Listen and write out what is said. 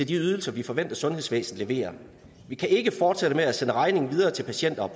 de ydelser vi forventer sundhedsvæsenet leverer vi kan ikke fortsætte med at sende regningen videre til patienter